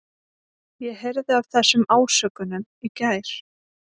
Ég heyrði af þessum ásökunum í gær.